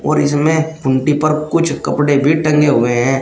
और इसमें खूंटी पर कुछ कपड़े भी टंगे हुए हैं।